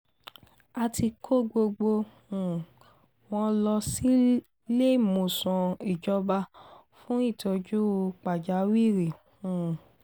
a ti kó gbogbo um wọn lọ síléemọ̀sán ìjọba fún ìtọ́jú pàjáwìrì um